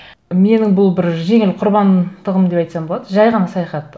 менің бұл бір жеңіл құрбандығым деп айтсам болады жай ғана саяхат